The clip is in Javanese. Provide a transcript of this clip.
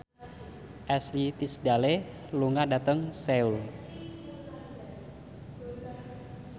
Ashley Tisdale lunga dhateng Seoul